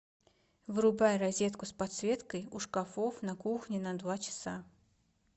вырубай розетку с подсветкой у шкафов на кухне на два часа